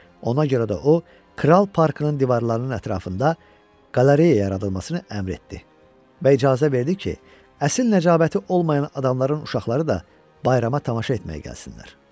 Ona görə də o kral parkının divarlarının ətrafında qalereya yaradılmasını əmr etdi və icazə verdi ki, əsl nəcabəti olmayan adamların uşaqları da bayrama tamaşa etməyə gəlsinlər.